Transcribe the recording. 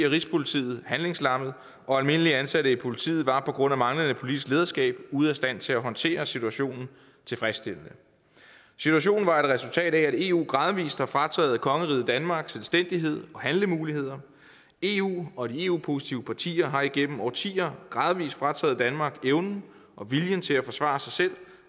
og rigspolitiet handlingslammet og almindeligt ansatte i politiet var på grund af manglende politisk lederskab ude af stand til at håndtere situationen tilfredsstillende situationen var et resultat af at eu gradvis har frataget kongeriget danmark selvstændighed og handlemuligheder eu og de eu positive partier har igennem årtier gradvis frataget danmark evnen og viljen til at forsvare sig selv